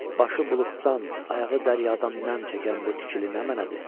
Başı buluddan, ayağı dəryadan nəmm çəkən bu tikili nə mənədir?